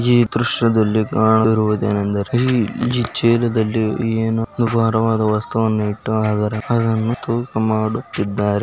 ಈ ದೃಶ್ಯದಲ್ಲಿ ಕಾಣುತ್ತಿರುವುದು ಏನೆಂದರೆ ಇಲ್ಲಿ ಚೀಲದಲ್ಲಿ ಏನು ಭಾರವಾದ ವಸ್ತುವನ್ನು ಇಟ್ಟು ಅದರ ಭಾರವನ್ನು ತೂಕ ಮಾಡುತ್ತಿದ್ದಾರೆ.